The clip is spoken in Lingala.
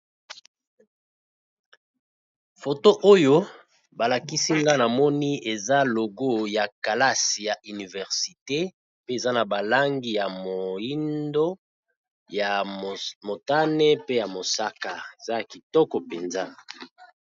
Photo oyo ba lakisi nga na moni eza logo ya kelasi ya université pe eza na ba langi ya moyindo, ya motane, pe ya mosaka . Eza ya kitoko mpenza .